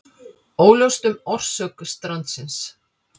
Óljóst um orsök strandsins